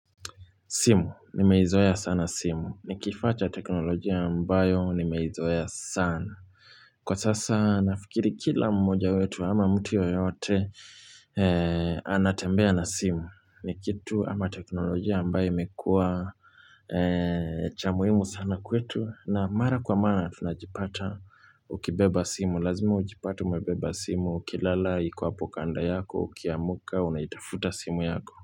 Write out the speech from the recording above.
Simu. Nimeizoea sana simu. Ni kifaa cha teknolojia ambayo nimeizoea sana. Kwa sasa nafikiri kila mmoja wetu ama mtu yoyote anatembea na simu. Ni kitu ama teknolojia ambayo imekua cha muhimu sana kwetu na mara kwa mara tunajipata ukibeba simu. Lazimi ujipate umebeba simu ukilala iko apo kanda yako ukiamka unaitafuta simu yako.